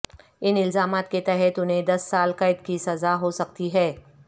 ان الزامات کے تحت انھیں دس سال قید کی سزا ہو سکتی ہے